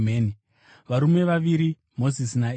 Varume vaviri, Mozisi naEria,